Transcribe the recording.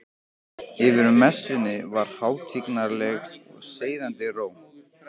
Yfir messunni var hátignarleg og seiðandi ró.